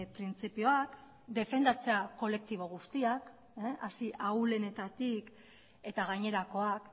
printzipioak defendatzea kolektibo guztiak hasi ahulenetatik eta gainerakoak